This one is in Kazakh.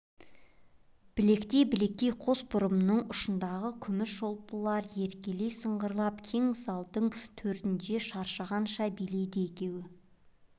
білектей-білектей қос бұрмының ұшындағы күміс шолпылар еркелей сыңғырлап кең залдың төрінде шаршағанша билейді екеуі